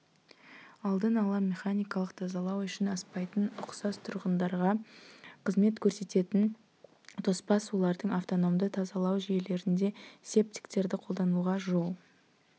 алдын ала механикалық тазалау үшін аспайтын ұқсас тұрғындарға қызмет көрсететін тоспа сулардың автономды тазалау жүйелерінде септиктерді қолдануға жол